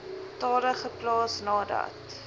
tale geplaas nadat